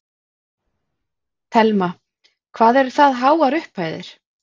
Telma: Hvað eru það háar upphæðir?